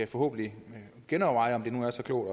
forhåbentlig kan genoverveje om det nu er så klogt